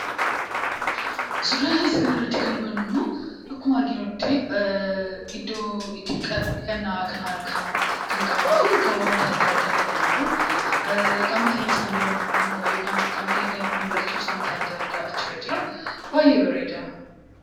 Suuraa isa kana irratti kan nuti hubanuu immoo, akkuma arginuutti iddoo itti dhiqataan dhiqanaa kan harka, kan qaamafi kan waanta adda addaadha kan jiru. Qaama keenyaa kan deebanu yookaan kan dhiqanuu wantaa adda adda achi irra jira. Baay'ee bareeda.